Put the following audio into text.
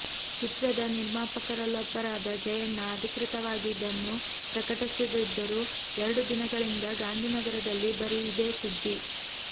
ಚಿತ್ರದ ನಿರ್ಮಾಪಕರೊಲ್ಲಬ್ಬರಾದ ಜಯಣ್ಣ ಅಧಿಕೃತವಾಗಿ ಇದನ್ನು ಪ್ರಕಟಿಸದಿದ್ದರೂ ಎರಡು ದಿನಗಳಿಂದ ಗಾಂಧಿನಗರದಲ್ಲಿ ಬರೀ ಇದೇ ಸುದ್ದಿ